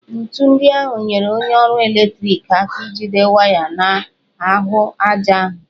Ńtù ndị ahụ nyere onye ọrụ ọkụ eletriki aka ijide waya n'ahụ aja ahụ